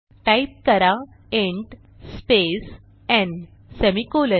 type करा int space न् semicolon